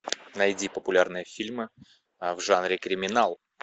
найди популярные фильмы в жанре криминал